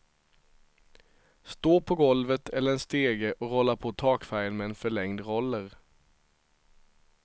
Stå på golvet eller en stege och rolla på takfärgen med en förlängd roller.